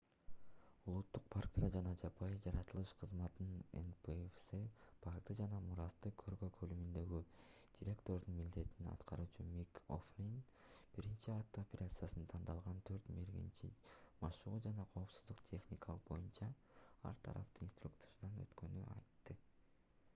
улуттук парктар жана жапайы жаратылыш кызматынын npws паркты жана мурасты коргоо бөлүмүндөгү директордун милдетин аткаруучу мик о'флин биринчи атуу операциясына тандалган төрт мергенчи машыгуу жана коопсуздук техникасы боюнча ар тараптуу инструктаждан өткөнүн айтты